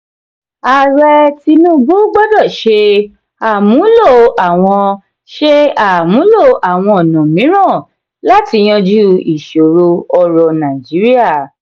ààrẹ tinubu gbọdọ ṣe àmúlò àwọn ṣe àmúlò àwọn ọnà mìíràn láti yanjú ìṣòro ètò orò nàìjíríà.